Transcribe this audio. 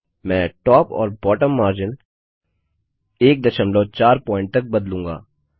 मैं टॉप और bottom margin 14पीट तक बदलूँगा